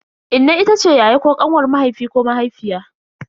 Inna itace yaya ko kanwar mahaifi ko mahaifiya.